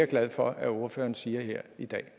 glad for at ordføreren siger her i dag